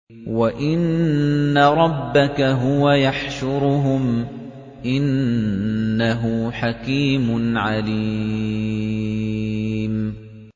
وَإِنَّ رَبَّكَ هُوَ يَحْشُرُهُمْ ۚ إِنَّهُ حَكِيمٌ عَلِيمٌ